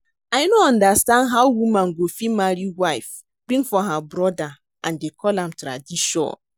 I no understand how woman go fit marry wife bring for her brother and dey call am tradition